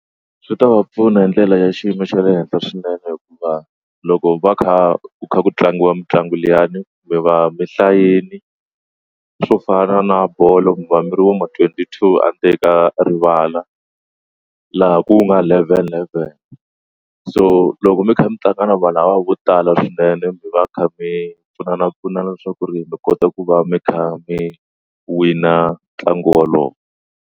Swi ta va pfuna hi ndlela ya xiyimo xa le henhla swinene hikuva loko va kha ku kha ku tlangiwa mitlangu liyani kumbe i va mi hlayini swo fana na bolo mi va miri vo ma twenty two a ndzeni ka rivala laha ku nga eleven eleven so loko mi kha mi tlanga na vanhu lava vo tala swinene mi va mi kha mi pfunana pfunana leswaku ku ri mi kota ku va mi kha mi wina ntlangu wolowo.